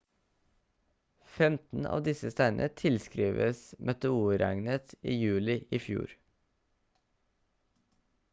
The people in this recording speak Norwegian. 15 av disse steinene tilskrives meteorregnet i juli i fjor